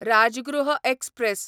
Rajgriha express